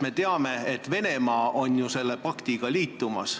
Me ju teame, et Venemaa on selle paktiga liitumas.